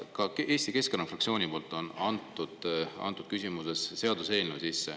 Ka Eesti Keskerakonna fraktsioon on andnud sisse sellekohase seaduseelnõu.